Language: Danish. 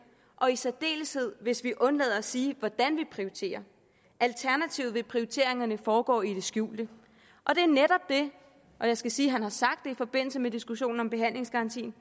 og i særdeleshed hvis vi undlader at sige hvordan vi prioriterer alternativt vil prioriteringerne foregå i det skjulte og jeg skal sige at han har sagt det i forbindelse med diskussionen om behandlingsgarantien